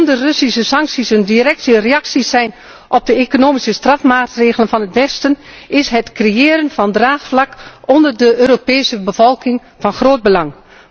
Omdat de Russische sancties een directe reactie zijn op de economische strafmaatregelen van het westen, is het creëren van draagvlak onder de Europese bevolking van groot belang.